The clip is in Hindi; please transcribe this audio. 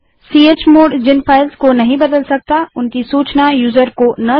fchmod जिन फ़ाइल्स को नहीं बदल सकता उनकी सूचना यूजर को न देने के लिए